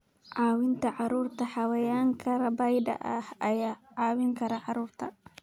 Caawinta Carruurta Xayawaanka rabaayada ah ayaa caawin kara carruurta.